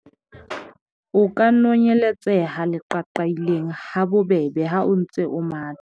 o ka nonyeletseha leqaqailaneng ha bobebe ha o ntse o matha